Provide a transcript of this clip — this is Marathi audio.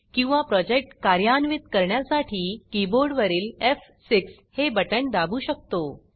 किंवा प्रोजेक्ट कार्यान्वित करण्यासाठी कीबोर्डवरील एफ6 हे बटण दाबू शकतो